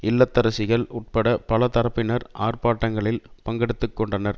இல்லத்தரசிகள் உட்பட பல தரப்பினர் ஆர்பாட்டங்களில் பங்கெடுத்து கொண்டனர்